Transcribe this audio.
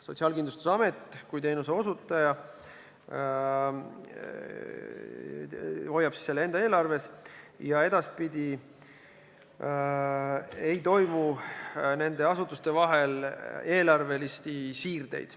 Sotsiaalkindlustusamet kui teenuseosutaja hoiab selle enda eelarves ja edaspidi ei toimu nende asutuste vahel eelarvelisi siirdeid.